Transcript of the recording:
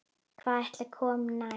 Hvað ætli komi næst?